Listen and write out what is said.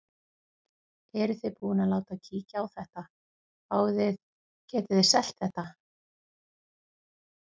Eruð þið búin að láta kíkja á þetta, fáið þið, getið þið selt þetta?